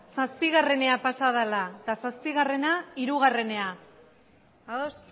zazpigarrenera pasa dela eta zazpigarrena hirugarrenera ados